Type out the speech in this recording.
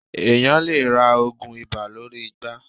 Èeàyàn lè ra oògun ibà lórí igbá.